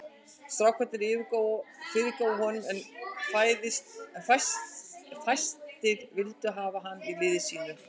Strákarnir fyrirgáfu honum en fæstir vildu hafa hann í liði sínu.